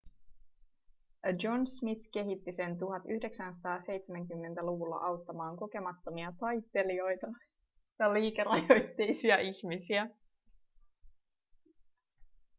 john smith kehitti sen 1970-luvulla auttamaan kokemattomia taittelijoita ja liikerajoitteisia ihmisiä